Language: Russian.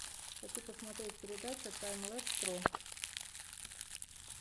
хочу посмотреть передача таймлэб про